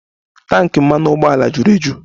Tanki mmanụ ụgbọala juru eju